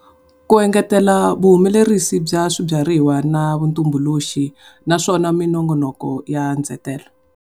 Ku engetela vuhumelerisi bya swibyariwa na vutumbuluxi, naswona minongonoko ya ndzetelo.